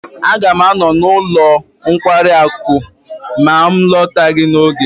Aga m anọ n'ọnụ ụlọ nkwari akụ ma m alọtaghi n'oge.